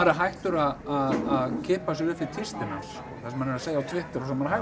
hættur að kippa sér upp við tístin hans það sem hann er að segja á Twitter